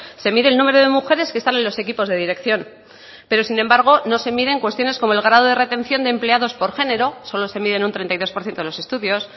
se mide el número de mujeres que están en los equipos de dirección pero sin embargo no se miden cuestiones como el grado de retención de empleados por género solo se mide en un treinta y dos por ciento los estudios